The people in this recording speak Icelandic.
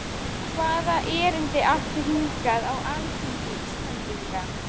Hvaða erindi áttu hingað á alþingi Íslendinga?